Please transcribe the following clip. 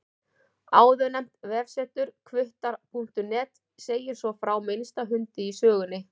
Áðurnefnt vefsetur, hvuttar.net, segir svo frá minnsta hundi í sögunni.